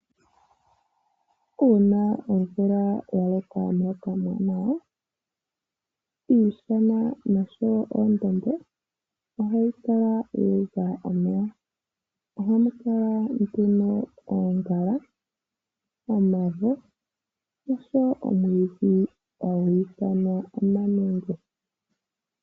Uuna omvula yaloka omuloka omwaanawa, iishana oshowo oondombe ohayi kala yu udha omeya. Ohamu kala nduno oongala, omavo, noshowo omwiidhi hagu ithanwa omanenge.